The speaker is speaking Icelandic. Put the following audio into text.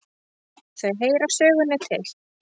Þau heyra sögunni til.